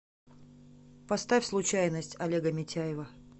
поставь случайность олега митяева